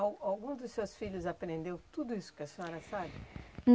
A alguns dos seus filhos aprendeu tudo isso que a senhora sabe?